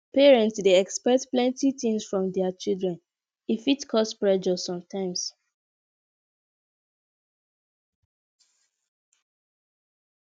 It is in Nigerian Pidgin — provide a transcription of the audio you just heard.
parents dey expect plenty things from dia children e fit cause pressure sometimes